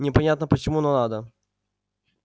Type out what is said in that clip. непонятно почему но надо